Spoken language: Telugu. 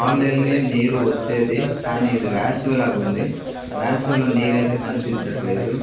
అల్లేలే నీరు వచ్చేది కానీ ఇది వేసవి లాగుంది వాసవిలో నీరైతే కనిపించట్లేదు.